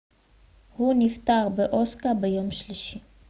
הוא נפטר באוסקה ביום שלישי